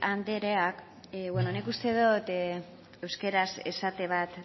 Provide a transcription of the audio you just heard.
andreak nik uste dot euskaraz esate bat